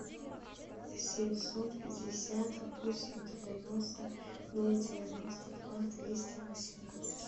семьсот пятьдесят восемь девяносто ноль девяносто два двести восемнадцать